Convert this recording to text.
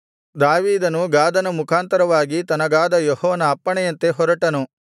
ದಾವೀದನು ಗಾದನ ಮುಖಾಂತರವಾಗಿ ತನಗಾದ ಯೆಹೋವನ ಅಪ್ಪಣೆಯಂತೆ ಹೊರಟನು